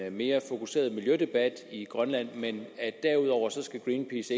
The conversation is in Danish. en mere fokuseret miljødebat i grønland men at greenpeace